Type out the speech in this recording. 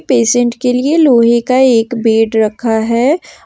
Patient के लिए लोहे का एक बेड रखा है।